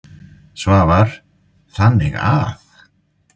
Svavar: Þannig að.